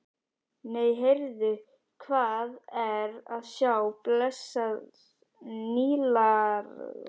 Nei, heyrðu, hvað er að sjá blessað Nílarsefið!